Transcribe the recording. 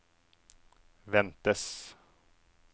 ventes